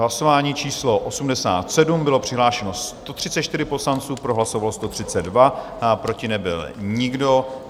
Hlasování číslo 87, bylo přihlášeno 134 poslanců, pro hlasovalo 132, proti nebyl nikdo.